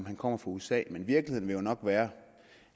han kommer fra usa men virkeligheden vil jo nok være